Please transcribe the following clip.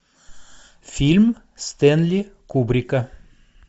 фильм стэнли кубрика